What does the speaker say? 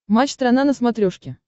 матч страна на смотрешке